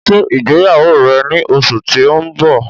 Ṣé ìgbéyàwó rẹ ni oṣù ti o n bọ̀!